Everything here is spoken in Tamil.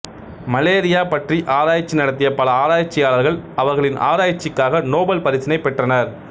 மலேரியா பற்றி ஆராய்ச்சி நடத்திய பல ஆராய்ச்சியாளர்கள் அவர்களின் ஆராய்ச்சிக்காக நோபல் பரிசினை பெற்றனர்